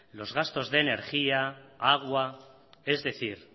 los gastos de energía agua es decir